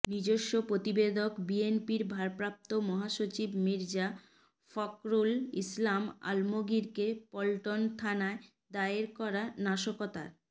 নিজস্ব প্রতিবেদকঃ বিএনপির ভারপ্রাপ্ত মহাসচিব মির্জা ফখরুল ইসলাম আলমগীরকে পল্টন থানায় দায়ের করা নাশকতার